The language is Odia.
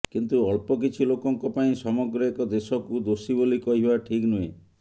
କିନ୍ତୁ ଅଳ୍ପ କିଛି ଲୋକଙ୍କ ପାଇଁ ସମଗ୍ର ଏକ ଦେଶକୁ ଦୋଷୀ ବୋଲି କହିବା ଠିକ ନୁହେଁ